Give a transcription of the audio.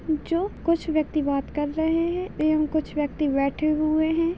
जो कुछ व्यक्ति बात कर रहे है एवं कुछ व्यक्ति बैठे हुए है।